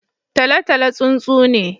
Tolotolo tsuntsu ne.